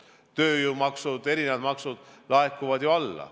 Tööjõumaksud, erinevad maksud – alalaekumine on ju.